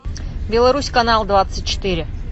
беларусь канал двадцать четыре